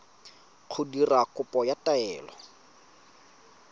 go dira kopo ya taelo